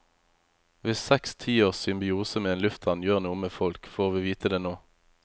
Hvis seks tiårs symbiose med en lufthavn gjør noe med folk, får vi vite det nå.